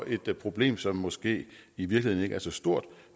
et problem som måske i virkeligheden ikke er så stort